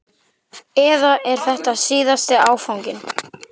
Eða er þetta síðasti áfanginn?